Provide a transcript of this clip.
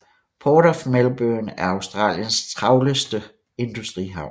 Port of Melbourne er Australiens travleste industrihavn